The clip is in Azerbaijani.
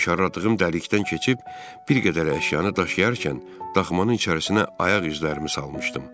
Mişarladığım dəlikdən keçib bir qədər əşyanı daşıyarkən daxmanın içərisinə ayaq izlərimi salmışdım.